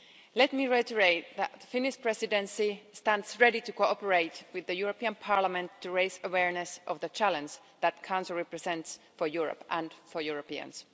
Let me reiterate that the Finnish Presidency stands ready to cooperate with the European Parliament to raise awareness of the challenges that cancer represents for Europe and for Europeans.